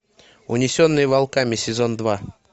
унесенные волками сезон два